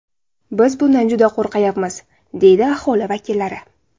Biz bundan juda qo‘rqyapmiz”, deydi aholi vakillari.